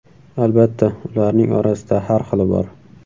Albatta, ularning orasida har xili bor.